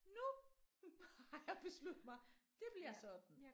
Nu har jeg besluttet mig det bliver sådan